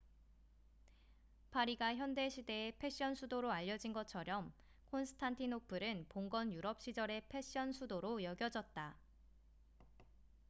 파리가 현대 시대의 패션 수도로 알려진 것처렴 콘스탄티노플은 봉건 유럽 시절의 패션 수도로 여겨졌다